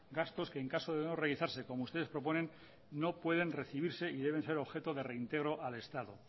gastos que en caso de no realizarse como ustedes proponen no pueden recibirse y deben de ser objeto de reintegro al estado